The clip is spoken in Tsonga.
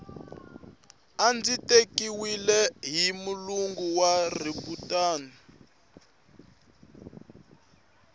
a ndzi tekiwile hi mulungu wa riburantani